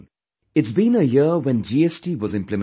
It's been an year when GST was implemented